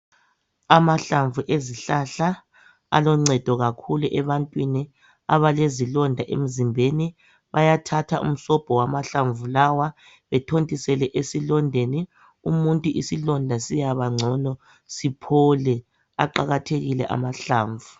Amahlamvu ezihlahla aloncedo kakhulu ebantwini abalezilonda emzimbeni. Bayathatha umsobho wamahlamvu lawa bethontisele esilondeni umuntu isilonda siyabangcono siphole. Aqakathekile amahlamvu.